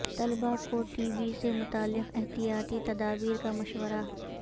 طلبہ کو T B سے متعلق احتیاطی تدابیر کا مشورہ